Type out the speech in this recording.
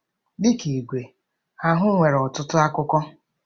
Dị ka igwe, ahụ nwere ọtụtụ akụkụ.